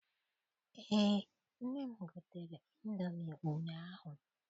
Eé, nne m gotere ịndomi ụnyaahụ.